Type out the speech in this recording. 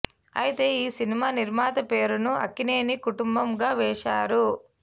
అయితే ఈ సినిమా నిర్మాత పేరును అక్కినేని కుటుంబం గా వేశారు